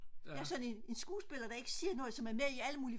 jeg er sådan en skuespiller som ikke siger noget der er med i alle mulige